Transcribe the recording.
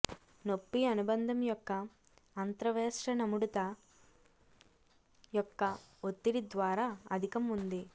నొప్పి అనుబంధం యొక్క అంత్రవేష్టనముడత యొక్క ఒత్తిడి ద్వారా అధికం ఉంది